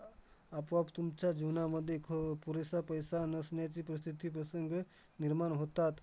आपोआप तुमच्या जीवनामध्ये ख पुरेसा पैसा नसण्याची प्रसिद्धी, प्रसंग निर्माण होतात.